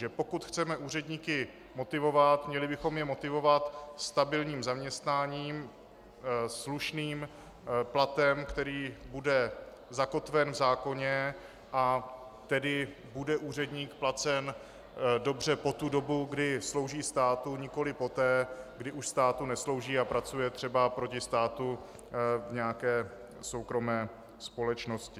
Že pokud chceme úředníky motivovat, měli bychom je motivovat stabilním zaměstnáním, slušným platem, který bude zakotven v zákoně, a tedy bude úředník placen dobře po tu dobu, kdy slouží státu, nikoliv poté, kdy už státu neslouží a pracuje třeba proti státu v nějaké soukromé společnosti.